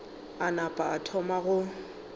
a napa a thoma go